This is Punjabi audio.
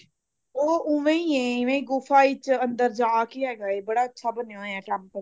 ਉਹ ਉਵੇਂ ਹੀ ਐ ਇਵੇਂ ਗੁਫਾ ਵਿੱਚ ਅੰਦਰ ਜਾਕੇ ਹੈਗਾ ਏ ਬੜਾ ਅੱਛਾ ਬਣਿਆ ਹੋਇਆ temple